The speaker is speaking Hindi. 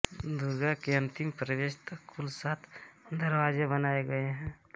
दुर्ग के अंतिम प्रवेश तक कुल सात दरवाजे बनाये गये हैं